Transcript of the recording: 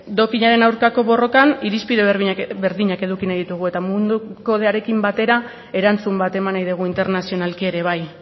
dopinaren aurkako borrokan irizpide berdinak eduki nahi ditugu eta mundu kodearekin batera erantzun bat eman nahi dugu internazionalki ere bai